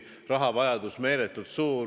Rahavajadus oli meeletult suur.